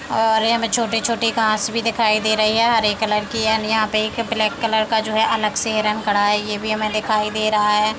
और ये हमें छोटे-छोटे घांस भी दिखाई दे रही है हरे कलर की यानि यहाँ पे एक ब्लैक कलर का जो है अलग से रंग कढ़ा है ये भी हमें दिखाई दे रहा है।